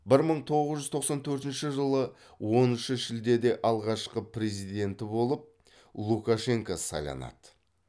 бір мың тоғыз жүз тоқсан төртінші жылы оныншы шілдеде алғашқы президенті болып лукашенко сайланады